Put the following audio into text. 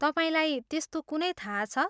तपाईँलाई त्यस्तो कुनै थाहा छ?